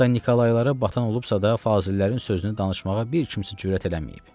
Hətta Nikolaylara batan olubsa da, fazillərin sözünü danışmağa bir kimsə cürət eləməyib.